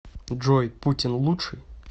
джой путин лучший